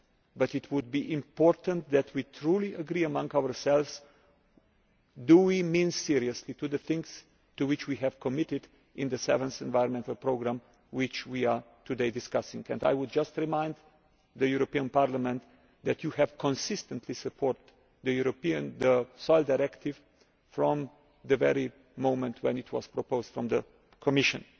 But it is important that we agree among ourselves whether we mean seriously to do the things to which we have committed in the Seventh Environmental Programme which we are discussing today. I would just remind the European Parliament that you have consistently supported the European Soil Directive from the first moment when it was proposed by the Commission.